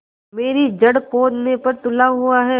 मेरी जड़ खोदने पर तुला हुआ है